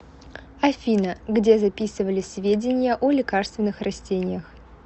афина где записывались сведения о лекарственных растениях